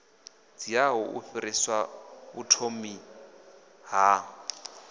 dziaho u fhirsisa vhuthomi ha